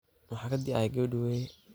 Maxa kaadhihay gawadhi Were.